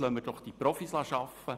Lassen wir doch die Profis arbeiten.